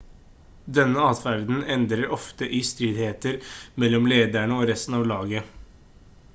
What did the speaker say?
denne adferden ender ofte i stridigheter mellom lederne og resten av laget